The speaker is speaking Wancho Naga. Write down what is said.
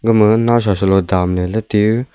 amaga nawsa saloe tamleley lete--